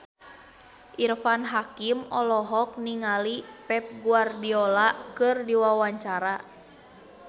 Irfan Hakim olohok ningali Pep Guardiola keur diwawancara